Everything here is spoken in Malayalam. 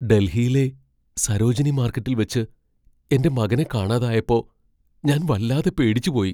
ഡൽഹിയിലെ സരോജിനി മാർക്കറ്റിൽ വച്ച് എന്റെ മകനെ കാണാതായപ്പോ ഞാൻ വല്ലാതെ പേടിച്ചുപോയി .